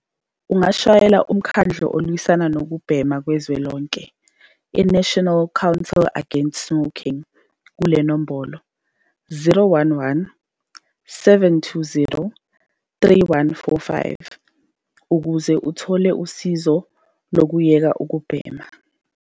Ungashayela Umkhandlu Olwisana Nokubhema Kuzwelonke, i-National Council Against Smoking, kule nombolo- 011 720 3145 ukuze uthole usizo lokuyeka ukubhema.